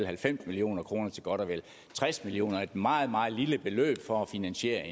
halvfems million kroner til godt og vel tres million er et meget meget lille beløb for at finansiere